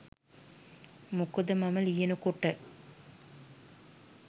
මොකද මම ලියන කොට